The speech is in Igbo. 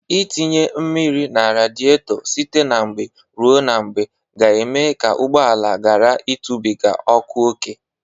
Ịtinye mmiri na radịetọ site na mgbe ruo na mgbe ga-eme ka ụgbọala gara ịtụbịga ọkụ oke.